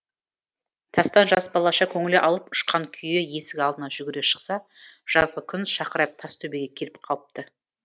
тастан жас балаша көңілі алып ұшқан күйі есік алдына жүгіре шықса жазғы күн шақырайып тас төбеге келіп қалыпты